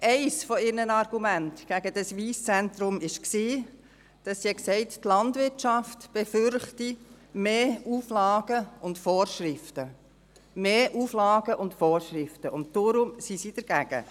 Eines ihrer Argumente gegen das Wyss Centre war, die Landwirtschaft befürchte mehr Auflagen und Vorschriften, und deshalb seien Sie dagegen.